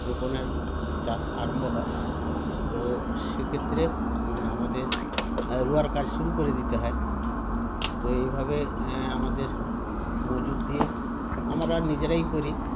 রোপণের চাষ আরম্ভ হয় তো সেক্ষেত্রে ম আমাদের রোয়ার কাজ শুরু করে দিতে হয় তো এই ভাবে এ আমাদের মজুদ দিয়ে আমরা নিজেরাই করি